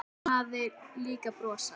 Og hann hafði líka brosað.